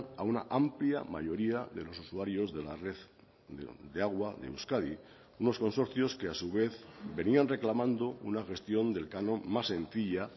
a una amplia mayoría de los usuarios de la red de agua de euskadi unos consorcios que a su vez venían reclamando una gestión del canon más sencilla